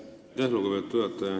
Aitäh, lugupeetud juhataja!